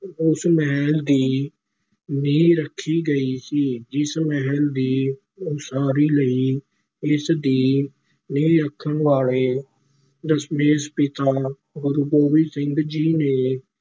ਉਸ ਮਹਿਲ ਦੀ ਨੀਂਹ ਰੱਖੀ ਗਈ ਸੀ, ਜਿਸ ਮਹਿਲ ਦੀ ਉਸਾਰੀ ਲਈ ਇਸ ਦੀ ਨੀਂਹ ਰੱਖਣ ਵਾਲੇ ਦਸ਼ਮੇਸ਼ ਪਿਤਾ ਗੁਰੂ ਗੋਬਿੰਦ ਸਿੰਘ ਜੀ ਨੇ